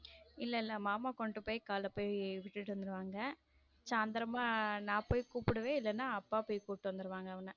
இல்ல இல்ல மாமா கொண்டு பொய் காலைல பொய் விட்டுட்டு வந்துருவாங்க சாந்தரம்மா நான் பொய் குபுடுவேன் இல்லேன்னா அப்பா பொய் குபுட்டு வந்துருவாங்க அவன்ன.